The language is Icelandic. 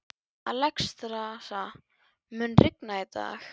Alexstrasa, mun rigna í dag?